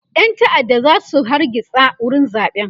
ƴan ta'adda zasu zo su hargitsa wurin zaɓen